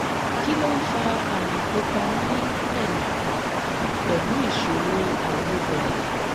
kí ló ń fa àmì pupa ní ẹ̀yìn pẹ̀lú ìṣòro àìlebẹ̀rẹ̀?